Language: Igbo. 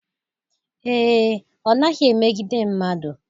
Ee, ọ naghị emegide mmadụ